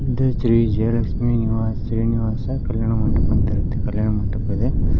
ಇದು ಶ್ರೀ ಜಯಲಕ್ಷ್ಮೀ ನಿವಾಸ್ ಶ್ರೀನಿವಾಸ ಕಲ್ಯಾಣ ಮಂಟಪ ಅಂತಿರುತ್ತೆ ಕಲ್ಯಾಣ ಮಂಟಪ ಇದೆ.